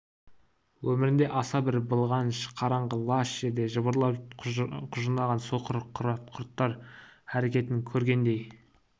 өмірінде аса бір былғаныш қараңғы лас жерде жыбырлап құжынаған соқыр құрттар әрекетін көргендей